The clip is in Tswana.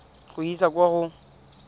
go e isa kwa go